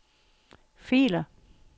filer